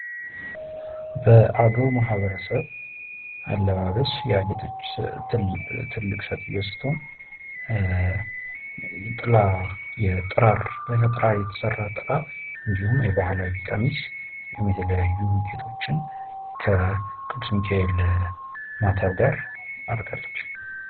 በአገው ማህበረሰብ አለባበስ ያጌጠች ትልቅ ሴትዮ ስትሆን ከጥራር የተሰራ ጥላ እንዲሁም የባህል ቀሚስ እና የተለያዩ ጌጦችን ከ ቅዱስ ሚካኤል ስዕል ጋር እርጋለች።